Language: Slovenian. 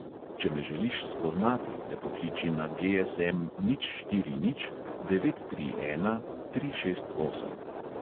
Če me želiš spoznati, me pokliči na GSM nič štiri nič devet tri ena tri šest osem.